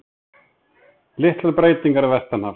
Litlar breytingar vestanhafs